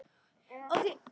Hafið þið heyrt það betra.